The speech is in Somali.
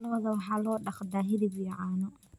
Lo'da waxaa loo dhaqdaa hilib iyo caano.